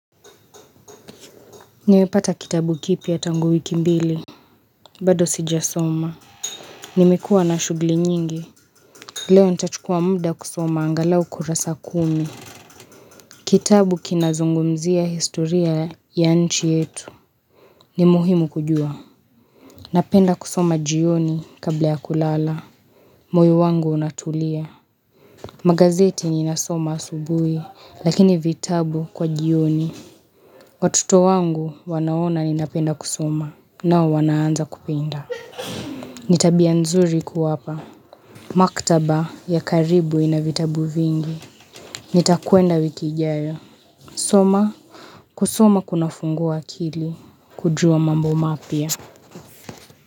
Niwepata kitabu kipya tangu wiki mbili bado sijasoma Nimikuwa na shugli nyingi Leo nchuchukua muda kusoma angalau kurasa kumi Kitabu kinazungumzia historia ya nchi yetu ni muhimu kujua. Napenda kusoma jioni kabla ya kulala moyo wangu unatulia. Magazeti ninasoma asubui Lakini vitabu kwa jioni Watoto wangu wanaona ninapenda kusoma nao wanaanza kupenda Nitabia nzuri kuwapa. Maktaba ya karibu ina vitabu vingi. Nitakuenda wiki ijao. Soma. Kusoma kuna fungua akili. Kujua mambo mapia.